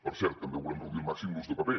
per cert també volem reduir al màxim l’ús de paper